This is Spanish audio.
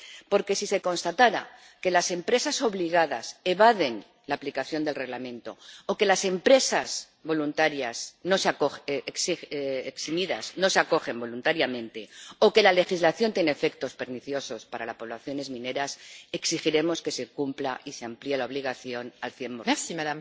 Porque, si se constatara que las empresas obligadas evaden la aplicación del Reglamento o que las empresas eximidas no se acogen voluntariamente, o que la legislación tiene efectos perniciosos para las poblaciones mineras, exigiremos que se cumpla y se amplíe la obligación al cien por cien.